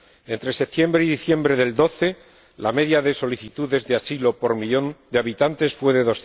Entre septiembre y diciembre de 2012, la media de solicitudes de asilo por millón de habitantes fue de